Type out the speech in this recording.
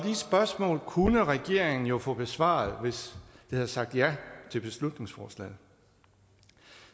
de spørgsmål kunne regeringen jo få besvaret hvis de havde sagt ja til beslutningsforslaget